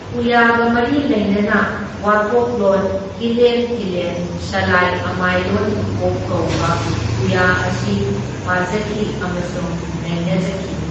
ꯄꯨꯌꯥꯒ ꯃꯔꯤ ꯂꯩꯅꯅ ꯋꯣꯀꯣꯛꯂꯣꯟ ꯍꯤꯂꯦꯟ ꯊꯤꯂꯦꯟ ꯁꯂꯥꯏ ꯑꯃꯥꯏꯂꯣꯟ ꯄꯨꯀꯣꯛ ꯀꯧꯕ ꯄꯨꯌꯥ ꯑꯁꯤ ꯄꯥꯖꯈꯤ ꯑꯃꯁꯨꯡ ꯅꯩꯅꯖꯈꯤ꯫